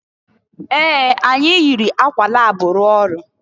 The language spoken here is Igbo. Ee! Anyị yiri akwa lab rụọ ọrụ.